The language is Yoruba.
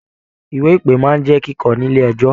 Ìwé ìpe máa n jẹ kíkọ nílé ẹjọ.